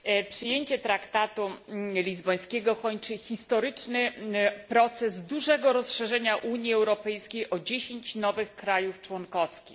Przyjęcie traktatu lizbońskiego kończy historyczny proces dużego rozszerzenia Unii Europejskiej o dziesięć nowych państw członkowskich.